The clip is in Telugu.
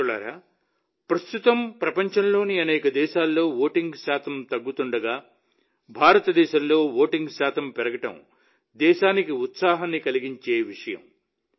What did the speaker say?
మిత్రులారా ప్రస్తుతం ప్రపంచంలోని అనేక దేశాల్లో ఓటింగ్ శాతం తగ్గుతుండగా భారతదేశంలో ఓటింగ్ శాతం పెరగడం దేశానికి ఉత్సాహాన్ని కలిగించే విషయం